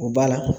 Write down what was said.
O ba la